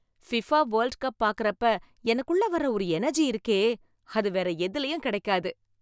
FIFA World Cup பார்க்கறப்ப எனக்குள்ள வர்ற ஒரு எனர்ஜி இருக்கே, அது வேற எதுலயும் கிடைக்காது